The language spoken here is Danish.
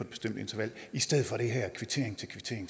bestemt interval i stedet for den her kvittering